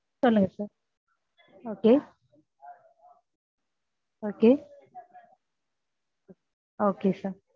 சொல்லுங்க sir okay okay okay sir